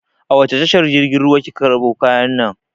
A wace tashar jirgin ruwa kika karɓo kayan nan?